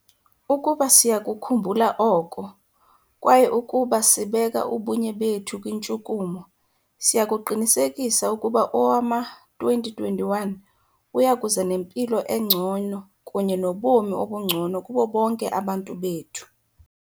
Ukuba siya kukhumbula oko, kwaye ukuba sibeka ubunye bethu kwintshukumo, siya kuqinisekisa ukuba owama-2021 uya kuza nempilo engcono kunye nobomi obungcono kubo bonke abantu bethu.